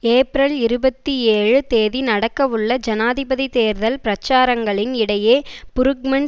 April இருபத்தி ஏழு தேதி நடக்கவுள்ள ஜனாதிபதி தேர்தல் பிரச்சாரங்களின் இடையே புருக்மன்